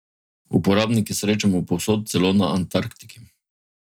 Uporabnike srečamo povsod, celo na Antarktiki.